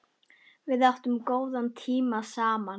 Við áttum góða tíma saman.